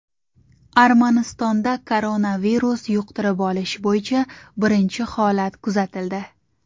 Armanistonda koronavirus yuqtirib olish bo‘yicha birinchi holat kuzatildi.